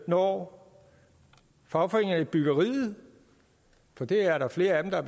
når fagforeningerne i byggeriet for det er der flere af dem der